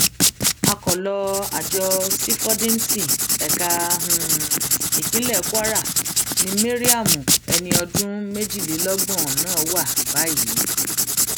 akọlọ àjọ sífọdíǹsì ẹka um ìpínlẹ kwara ni mariam ẹni ọdún méjìlélọgbọn um náà wà báyìí